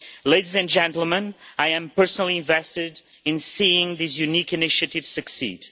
Ladies and gentlemen, I am personally invested in seeing this unique initiative succeed.